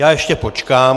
Já ještě počkám.